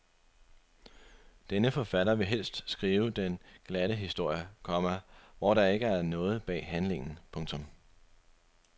Denne forfatter vil helst skrive den glatte historie, komma hvor der ikke er noget bag handlingen. punktum